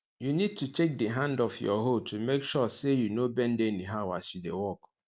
you need to check di hand of your hoe to make sure say you no bend anyhow as you dey work